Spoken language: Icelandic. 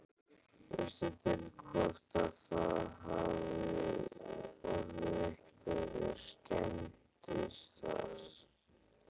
Veistu til hvort að það hafi orðið einhverjar skemmdir þar?